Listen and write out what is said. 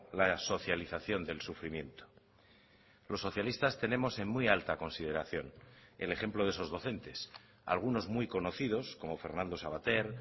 la socialización del sufrimiento los socialistas tenemos en muy alta consideración el ejemplo de esos docentes algunos muy conocidos como fernando savater